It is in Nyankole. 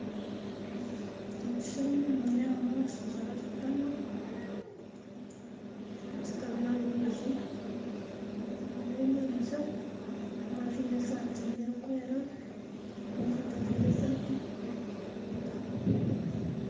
Omu kishuushani nindeebamu abashaija bana bashutamire ah'amaizi nindeeba enyanja omwe ajwire esaati erikwera ondijo tajwire esaati